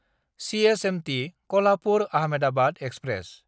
CSMT कल्हापुर–आहमेदाबाद express